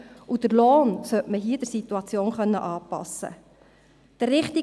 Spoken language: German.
Den Lohn sollte man hier der Situation anpassen können.